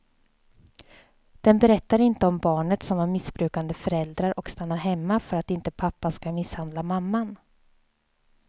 Den berättar inte om barnet som har missbrukande föräldrar och stannar hemma för att inte pappan ska misshandla mamman.